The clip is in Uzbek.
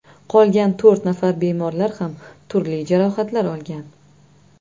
Qolgan to‘rt nafar bemorlar ham turli jarohatlar olgan.